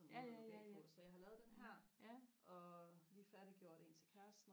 sådan en måde og lukke af på så jeg har lavet den her og lige færdiggjort en til kæresten